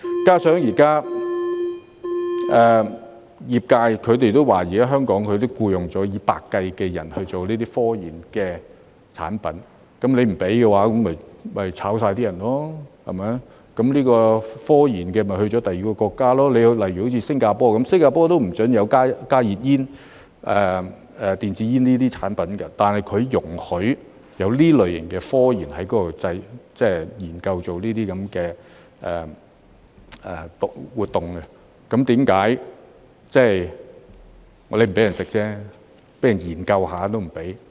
加上業界也表示，現時已在香港僱用數以百計的人，進行產品科研，如果政府不准許，便要把所有人辭退，要科研便前往第二個國家，例如新加坡，新加坡也不准賣加熱煙、電子煙等產品，但容許這類型科研活動在那裏進行，即使不准人吸食，為何連研究也不可以？